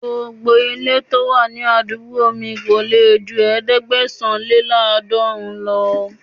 Gbogbo ilé to wà ní abúlé mi kò lè ju ẹ̀ẹ́dẹ́gbẹ̀sán-lé-láàdọọ́ọ̀rún lọ.